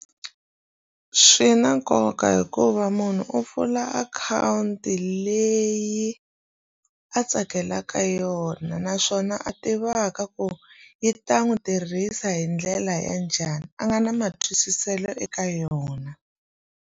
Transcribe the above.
Swi na nkoka hikuva munhu u pfula akhawunti leyi a tsakelaka yona naswona a tivaka ku yi ta n'wi tirhisa hi ndlela ya njhani a nga na matwisiselo eka yona.